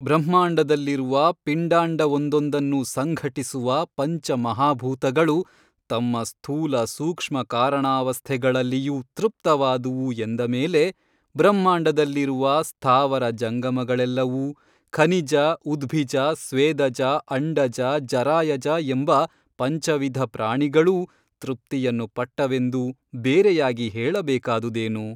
ಬ್ರಹ್ಮಾಂಡದಲ್ಲಿರುವ ಪಿಂಡಾಂಡವೊಂದೊಂದನ್ನೂ ಸಂಘಟಿಸುವ ಪಂಚ ಮಹಾಭೂತಗಳು ತಮ್ಮ ಸ್ಥೂಲಸೂಕ್ಷ್ಮಕಾರಣಾವಸ್ಥೆಗಳಲ್ಲಿಯೂ ತೃಪ್ತವಾದುವು ಎಂದ ಮೇಲೆ ಬ್ರಹ್ಮಾಂಡದಲ್ಲಿರುವ ಸ್ಥಾವರ ಜಂಗಮಗಳೆಲ್ಲವೂ ಖನಿಜ ಉದ್ಭಿಜ ಸ್ವೇದಜ ಅಂಡಜ ಜರಾಯಜ ಎಂಬ ಪಂಚವಿಧ ಪ್ರಾಣಿಗಳೂ ತೃಪ್ತಿಯನ್ನು ಪಟ್ಟವೆಂದು ಬೇರೆಯಾಗಿ ಹೇಳಬೇಕಾದುದೇನು?